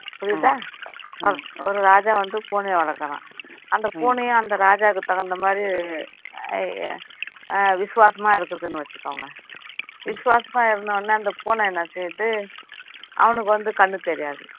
புரியுதா ஒரு ராஜா வந்து பூனைய வளர்க்குறான் அந்த பூனையும் அந்த ராஜாவுக்கு தகுந்த மாதிரி ஆஹ் விசுவாசமா இருக்குதுன்னு வச்சிக்கோங்க விசுவாசமா இருந்த உடனே அந்த பூனை என்ன செய்யுது அவனுக்கு வந்து கண்ணு தெரியாது